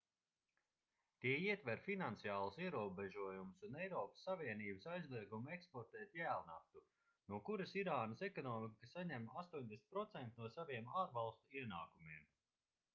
tie ietver finansiālus ierobežojumus un eiropas savienības aizliegumu eksportēt jēlnaftu no kuras irānas ekonomika saņem 80% no saviem ārvalstu ienākumiem